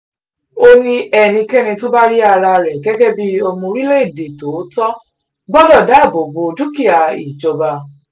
ó ní ẹnikẹ́ni tó bá rí ara rẹ̀ gẹ́gẹ́ bíi ọmọ orílẹ̀‐èdè tòótọ́ gbọ́dọ̀ dáàbò bo dúkìá ìjọba